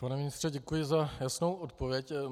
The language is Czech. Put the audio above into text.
Pane ministře, děkuji za jasnou odpověď.